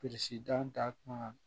da kuma